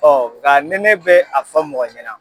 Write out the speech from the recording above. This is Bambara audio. Ɔ nka ni nɛ bɛ a fɔ mɔgɔ ɲɛna.